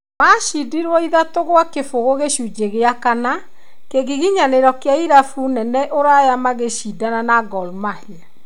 Macindirwo ithatũ kwa kĩbũgũ gĩcunjĩ gĩa kana, kĩgiginyanĩro kĩa irabu nene ũraya magĩcindana na Gor Mahia.